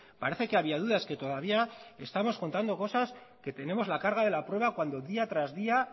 parece que había dudas que todavía estamos contando cosas que tenemos la carga de la prueba cuando día tras día